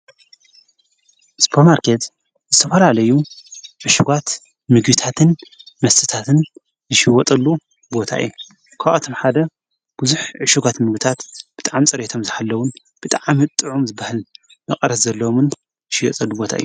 ስጵ ማርከት ዝተፈላለዩ ዕሽጓት ምግታትን መትታትን ዝሽይወጠሉ ቦታየ ኳዖቶም ሓደ ብዙኅ ዕሽጓት ምሉታት ብጥዓም ጸሬቶም ዝሃለዉን ብጥዓም ጥዑም ዝበህል መቐረስ ዘሎምን ሽወጸሉ ቦታ እዩ።